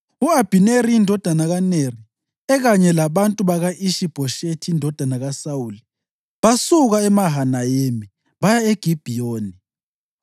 U-Abhineri indodana kaNeri, ekanye labantu baka-Ishi-Bhoshethi indodana kaSawuli, basuka eMahanayimi baya eGibhiyoni.